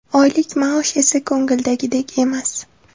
Oylik maosh esa ko‘ngildagidek emas.